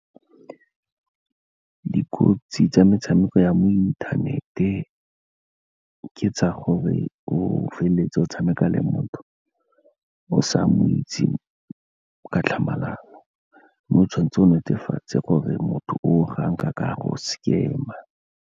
Dikotsi tsa metshameko ya mo inthanete, ka tsa gore o feleletse o tshameka le motho o sa mo o itseng ka tlhamalalo, mme o tshwan'tse o netefatse gore motho o gang ka ka a go scam-a.